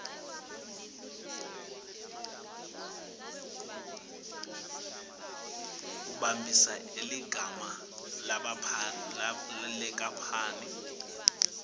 kumbambisa ligama lenkapani